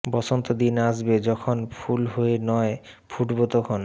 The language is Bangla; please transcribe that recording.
বসন্ত দিন আসবে যখন ফুল হয়ে নয় ফুটবো তখন